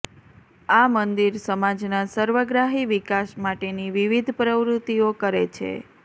આ મંદિર સમાજના સર્વગ્રાહી વિકાસ માટેની વિવિધ પ્રવૃત્તિઓ કરે છે